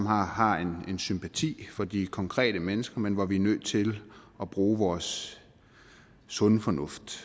har har sympati for de konkrete mennesker men hvor vi er nødt til at bruge vores sunde fornuft